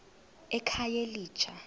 ekhayelitsha